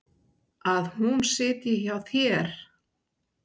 Að hún sitji hjá þér?